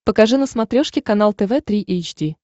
покажи на смотрешке канал тв три эйч ди